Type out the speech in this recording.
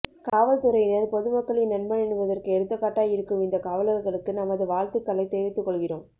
காவல்துறையினர் பொதுமக்களின் நண்பன் என்பதற்கு எடுத்துக்காட்டாய் இருக்கும் இந்த காவலர்களுக்கு நமது வாழ்த்துக்களை தெரிவித்து கொள்கிறோம்